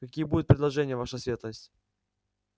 какие будут предложения ваша светлость